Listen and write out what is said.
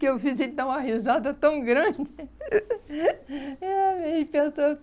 que eu fiz ele dar uma risada tão grande.